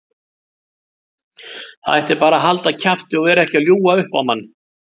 Það ætti bara að halda kjafti og vera ekki að ljúga upp á mann.